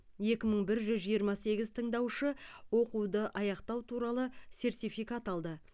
екі мың бір жүз жиырма сегіз тыңдаушы оқуды аяқтау туралы сертификат алды